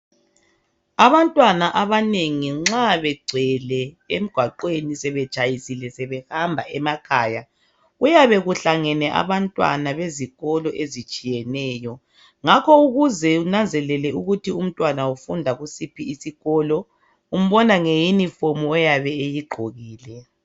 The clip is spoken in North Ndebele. Abantwana abanengi nxa begcwele emgwaqweni sebetshayisile sebehamba emakhaya. Kuyabe kuhlangene abantwana bezikolo ezitshiyeneyo. Ngakho ukuze unanzelele ukuthi umntwana ufunda kusiphi iskolo, umbona ngeyunifomu eyabe eyigqokile.